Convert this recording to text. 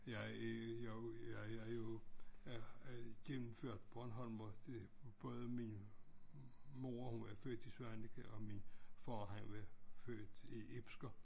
Jeg jo jeg er jo øh gennemført bornholmer det både min mor hun var født i Svaneke og min far han var født i Ibsker